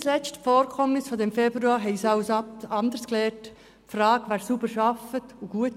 Nicht zuletzt haben uns die Vorkommnisse des vergangenen Februars etwas anderes gelehrt.